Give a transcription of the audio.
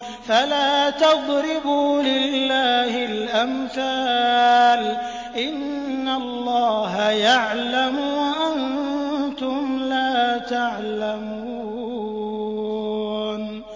فَلَا تَضْرِبُوا لِلَّهِ الْأَمْثَالَ ۚ إِنَّ اللَّهَ يَعْلَمُ وَأَنتُمْ لَا تَعْلَمُونَ